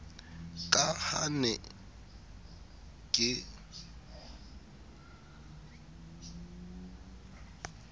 ka ha ke ne ke